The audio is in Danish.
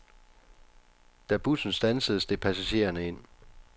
Da bussen standsede, steg passagererne ind.